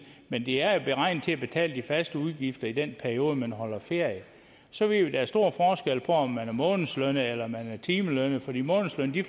men de er beregnet til at betale de faste udgifter i den periode man holder ferie så ved vi er stor forskel på om man er månedslønnet eller timelønnet for de månedslønnede